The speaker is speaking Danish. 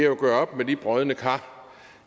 at gøre op med de brodne kar